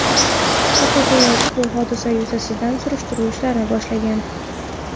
Prokuratura ushbu hodisa yuzasidan surishtiruv ishlarini boshlagan.